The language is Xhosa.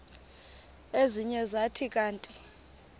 ezinye zathi kanti